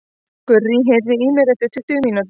Gurrý, heyrðu í mér eftir tuttugu mínútur.